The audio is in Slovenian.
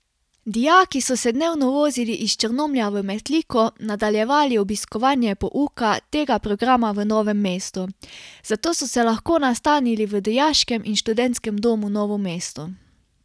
Dijaki so se dnevno vozili iz Črnomlja v Metliko, nadaljevali obiskovanje pouka tega programa v Novem mestu, zato so se lahko nastanili v Dijaškem in študentskem domu Novo mesto.